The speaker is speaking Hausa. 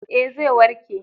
Ee, zai warke.